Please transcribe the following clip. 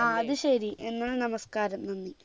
ആ അത് ശരി എന്നാൽ നമസ്‍കാരം നന്ദി